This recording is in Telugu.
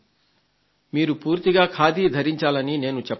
మీరు పూర్తిగా ఖాదీ ధరించాలని నేను చెప్పడం లేదు